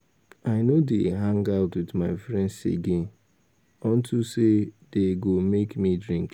I no dey hang out with my friends again unto say dey go make me drink